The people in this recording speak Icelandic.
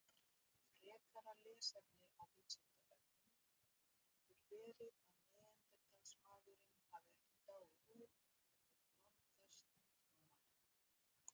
Frekara lesefni á Vísindavefnum: Getur verið að Neanderdalsmaðurinn hafi ekki dáið út heldur blandast nútímamanninum?